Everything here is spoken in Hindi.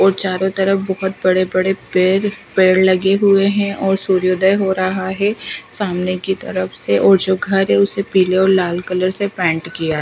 और चारों तरफ बहुत बड़े बड़े पैर पेड़ लगे हुए हैं और सूर्योदय हो रहा है सामने की तरफ से और जो घर है उसे पीले और लाल कलर से पेंट किया--